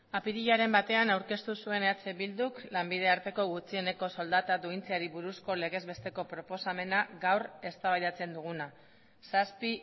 apirilaren batean aurkeztu zuen eh bilduk lanbide arteko gutxieneko soldata duintzeari buruzko legez besteko proposamena gaur eztabaidatzen duguna zazpi